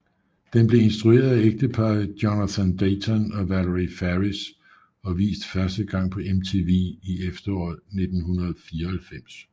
Den blev instrueret af ægteparret Jonathan Dayton og Valerie Faris og vist første gang på MTV i efteråret 1994